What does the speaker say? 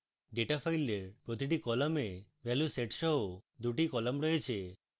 data file প্রতিটি column value set সহ দুটি column রয়েছে